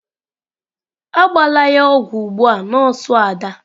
Agbala ya ogwu ugbu a nọọsụ Ada!